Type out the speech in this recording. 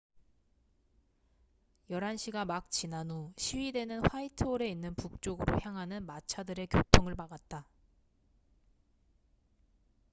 11시가 막 지난 후 시위대는 화이트홀에 있는 북쪽으로 향하는 마차들의 교통을 막았다